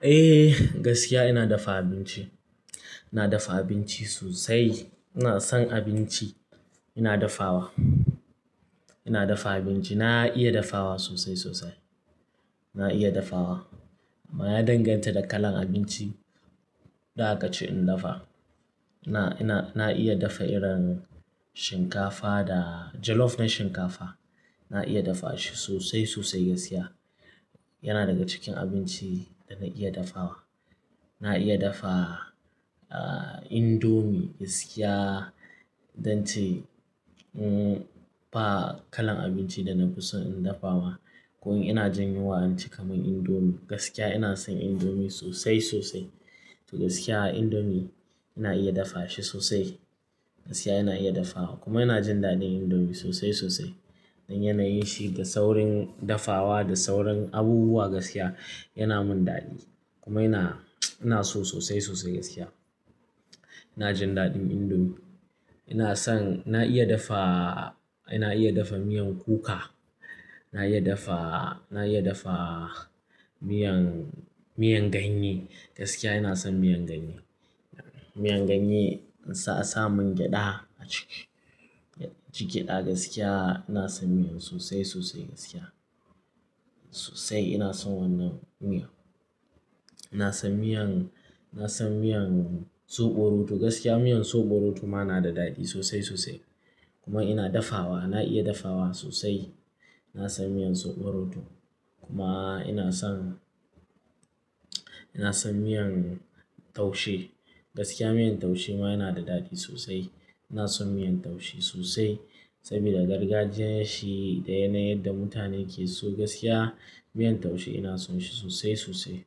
Eh, gaskiya ina dafa abinci. Ina dafa abinci sosai. Ina son abinci ina dafawa. Ina dafa abinci. Na iya dafawa sosai sosai. Na iya dafawa. Amma ya danganta da kalan abinci, da a kace in dafa. Na, ina, na iya dafa irin shinkafa da jollof na shinkafa. Na iya dafa shi sosai sosai gaskiya. Yana daga cikin abinci da na iya dafawa. Na iya dafa, ah, indomie gaskiya. Idan ce, um, ba kalan abinci da na fi so in dafawa. Ko in ina jin yunwa, inci kamar indomie. Gaskiya ina son indomie sosai sosai. To gaskiya indomie ina iya dafa shi sosai. Gaskiya ina iya dafawa. Kuma ina jin daɗin indomie sosai sosai. Don yanayin shi da saurin dafawa da saurin abubuwa gaskiya yana mun daɗi. Kuma ina, ina so sosai sosai gaskiya. Ina jin daɗin indomie. Ina son-- na iya dafa, ina iya dafa miyan kuka. Na iya dafa, na iya dafa miyan, miyan ganye. Gaskiya ina son miyan ganye. Miyan ganye sa, sa mun gyaɗa a ciki. Ci gyaɗa gaskiya ina son miyan sosai sosai gaskiya. Sosai ina son wannan miya. Ina son miyan, na son miyan soɓo rodo. Gaskiya miyan soɓo rodo ma na da daɗi sosai sosai. Kuma ina dafawa, na iya dafawa sosai. Na son miyan soɓo roɗo. Kuma ina son, ina son miyan taushe. Gaskiya miyan taushe ma yana da daɗi sosai. Ina son miyan taushe sosai. Saboda gargajiyan shi da yanayin da mutane ke so gaskiya. Miyan taushe ina son shi sosai sosai.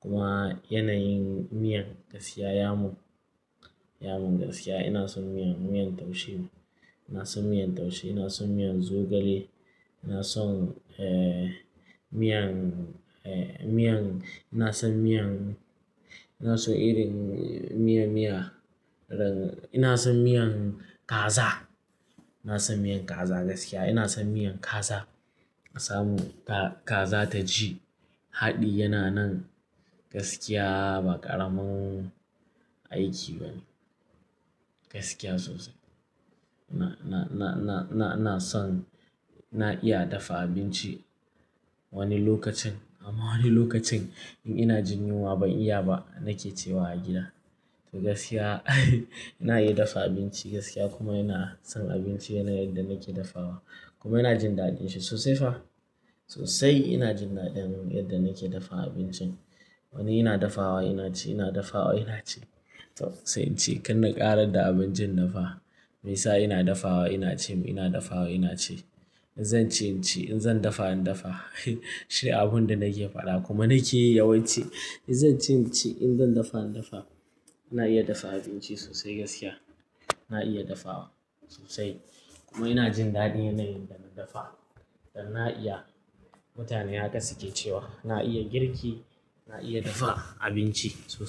Kuma yanayin miyan gaskiya, yamun, yamun gaskiya ina son miyan, miyan taushe. Ina son miyan taushe, ina son miyan zogale. Ina son, eh, miyan, eh, miyan, ina son miyan-- ina so irin miya, miya. Ina son miyan kaza. Ina son miyan kaza gaskiya. Ina son miyan kaza. Sa mu ka, kaza ta ji haɗi yana nan gaskiya ba ƙaramin aiki bane. Gaskiya sosai. Na, na, na, na, na, na son-- na iya dafa abinci wani lokacin. Amma wani lokacin in ina jin yunwa ban iya ba nake cewa a gida. To gaskiya ina iya dafa abinci gaskiya kuma ina son abinci yanayin da nake dafawa. Kuma ina jin daɗin shi sosai fa. Sosai ina jin daɗin yadda nake dafa abincin. Wani ina dafawa ina ci, ina dafawa ina ci. To sai in ci. Kanna ƙarar da abincin na fa. Meya sa ina dafawa ina ci mu ina dafawa ina ci. In zan ci in ci, in zan dafa in dafa. Shi abun da nake faɗa kuma nake yi yawanci. In zan ci in ci, in zan dafa in dafa. Ina iya dafa abinci sosai gaskiya. Na iya dafawa sosai. Kuma ina jin daɗin yanayin dana dafa. Dan na iya. Mutane haka suke cewa. Na iya girki, na iya dafa abinci sosai.